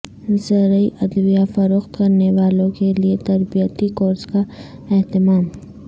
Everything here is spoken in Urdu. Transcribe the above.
زرعی ادویہ فروخت کرنے والوں کیلئے تربیتی کورس کا اہتمام